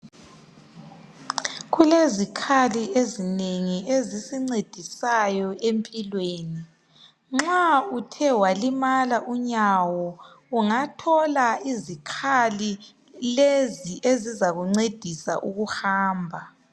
Kulezikhali ezinengi ezisincedisayo empilweni. Nxa uthe walimala unyawo ungathola izikhali lezi ezizakuncedisa ukuhamba.